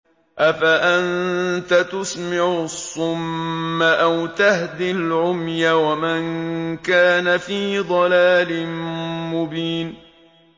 أَفَأَنتَ تُسْمِعُ الصُّمَّ أَوْ تَهْدِي الْعُمْيَ وَمَن كَانَ فِي ضَلَالٍ مُّبِينٍ